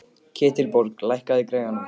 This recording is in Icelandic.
Ketilbjörg, lækkaðu í græjunum.